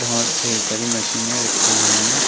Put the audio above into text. और ढेर सारी मशीने रखी हुई है।